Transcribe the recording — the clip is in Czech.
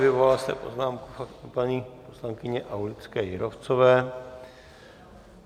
Vyvolal jste poznámku paní poslankyně Aulické Jírovcové.